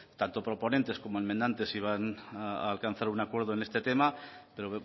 tanto proponentes como enmendantes iban a alcanzar un acuerdo en este tema pero